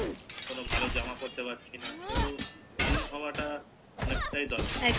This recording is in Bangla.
কেনো ভালো জামা পরতে পারছিনা তো Slim হওয়া টা অনেকটাই দরকার